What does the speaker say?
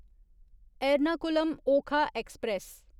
Ernakulam Okha express